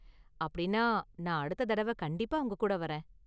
அப்படின்னா நான் அடுத்த தடவ கண்டிப்பா உங்ககூட வரேன்.